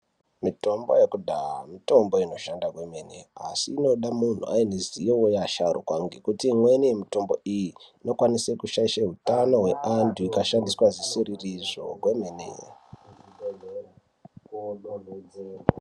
Mitombo yekudhaha mitombo inoshanda kwemene asi inoda munhu aine ruzivo we asharuka ngekuti imweni mitombo iyi ino kwanise ku shaishe utano hwe antu ika shandiswa zvisiriri zvo kwemene.